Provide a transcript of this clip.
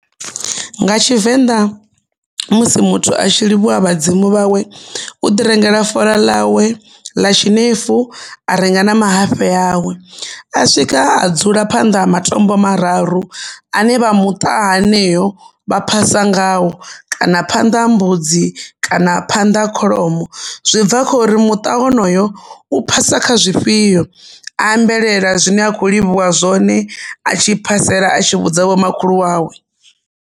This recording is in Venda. Nga Tshivenḓa musi muthu a tshi livhuwa vhadzimu vhawe u ḓi rengela fola ḽawe ḽa tshinefu a renga na mahafhe awe. A swika a dzula phanḓa ha matombo mararu ane vha muṱa haneyo vha phasa ngao kana phanḓa ha mbudzi kana phanḓa ha kholomo, zwi bva kha uri muṱa wonoyo u phasa kha zwifhio. A ambelela zwine a kho livhuwa zwone a ambelela a tshi vhudza vho makhulu wawe.